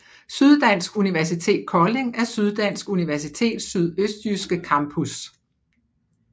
Syddansk Universitet Kolding er Syddansk Universitets sydøstjyske campus